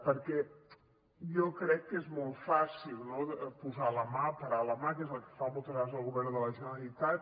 perquè jo crec que és molt fàcil no posar la mà parar la mà que és el que fa moltes vegades el govern de la generalitat